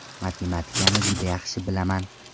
Matematikani juda yaxshi bilaman .